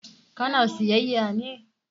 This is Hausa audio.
Ka na sayyaya ne?